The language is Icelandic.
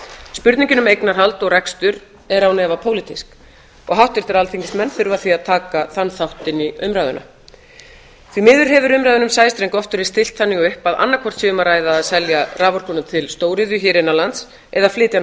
spurningin um eignarhald og rekstur er án efa pólitísk og háttvirtir alþingismenn þurfa því að taka þann þátt inn í umræðuna því miður hefur umræðunni um sæstreng oft verið stillt þannig upp að annaðhvort sé um að ræða að selja raforkuna til stóriðju hér innan lands eða flytja hana